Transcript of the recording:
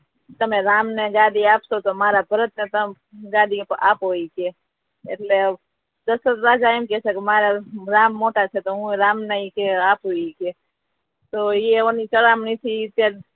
તમે રામ ને ગાદી આપશો તો મારા ભરત ને ગાદી આપો ઈ કે એટલે દશરથ રાજા એમ કહે છે કે મારા રામ મોટા છે તો હુ રામ ને ઈ કે આપુ ઈ કે તો એની ચડમણી થી